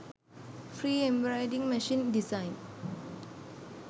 free embroidery machine designs